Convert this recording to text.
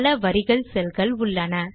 பல வரிகள் cellகள் உள்ளன